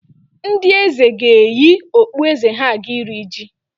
Ndị Eze ga-eyi okpueze ha aga iri ji